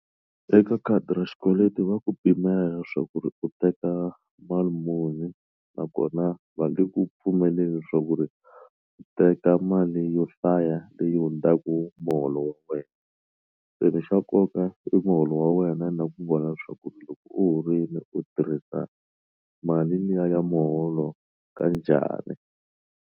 Eka khadi ra xikweleti wa ku pimela swa ku ri u teka mali muni nakona va nge ku pfumeleli swa ku ri u teka mali yo hlaya leyi hundzaka ku muholo wa wena se ni xa nkoka i muholo wa wena na ku vona leswaku loko u horile u tirhisa mali liya ya muholo ka njhani.